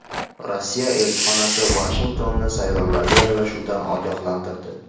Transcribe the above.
Rossiya elchixonasi Vashingtonni saylovlarga aralashuvlardan ogohlantirdi.